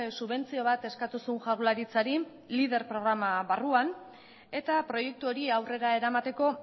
subentzio bat eskatu zuen jaurlaritzari lider programa barruan eta proiektu hori aurrera eramateko